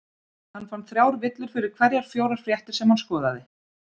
Hann fann þrjár villur fyrir hverjar fjórar fréttir sem hann skoðaði.